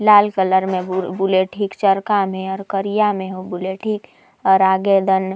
लाल colour में bullet ही चरका में और करिया में ही बुलेट ही और आगे दन --